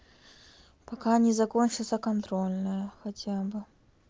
пока не закончится контрольную хотя бы